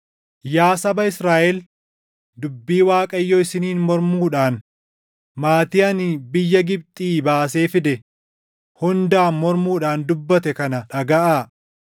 Yaa saba Israaʼel, dubbii Waaqayyo isiniin mormuudhaan, maatii ani biyya Gibxii baasee fide hundaan mormuudhaan dubbate kana dhagaʼaa: